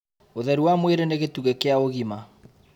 Ũtheru wa mwĩrĩ nĩ gĩtugĩ kĩa ũgima